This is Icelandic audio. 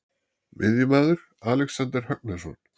Miðjumaður: Alexander Högnason.